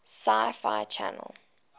sci fi channel